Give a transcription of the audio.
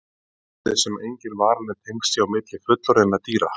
Svo virðist sem engin varanleg tengsl séu á milli fullorðinna dýra.